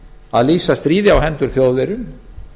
að lýsa stríði á hendur þjóðverjum